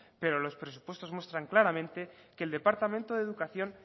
pero los presupuestos muestran claramente que el departamento de educación